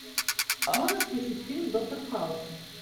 можешь включить фильм доктор хаус